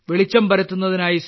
വെളിച്ചം പരത്തുന്നതിനായി